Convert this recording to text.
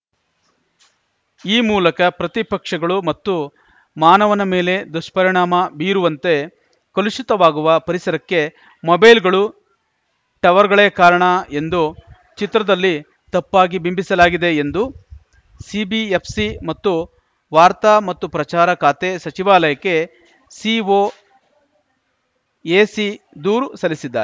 ಈ ಮೂಲಕ ಪ್ರತಿ ಪಕ್ಷಗಳು ಮತ್ತು ಮಾನವನ ಮೇಲೆ ದುಷ್ಪರಿಣಾಮ ಬೀರುವಂತೆ ಕಲುಷಿತವಾಗುವ ಪರಿಸರಕ್ಕೆ ಮೊಬೈಲ್‌ಗಳು ಟವರ್‌ಗಳೇ ಕಾರಣ ಎಂದು ಚಿತ್ರದಲ್ಲಿ ತಪ್ಪಾಗಿ ಬಿಂಬಿಸಲಾಗಿದೆ ಎಂದು ಸಿಬಿಎಫ್‌ಸಿ ಮತ್ತು ವಾರ್ತಾ ಮತ್ತು ಪ್ರಚಾರ ಖಾತೆ ಸಚಿವಾಲಯಕ್ಕೆ ಸಿಒಎಸಿ ದೂರು ಸಲ್ಲಿಸಿದೆ